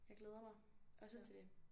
Jeg glæder mig også til det